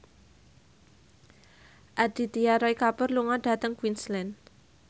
Aditya Roy Kapoor lunga dhateng Queensland